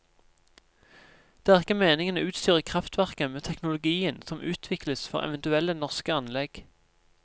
Det er ikke meningen å utstyre kraftverket med teknologien som utvikles for eventuelle norske anlegg.